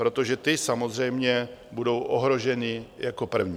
Protože ty samozřejmě budou ohroženy jako první.